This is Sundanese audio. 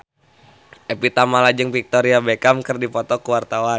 Evie Tamala jeung Victoria Beckham keur dipoto ku wartawan